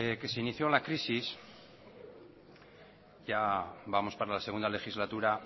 que se inició la crisis ya vamos para la segunda legislatura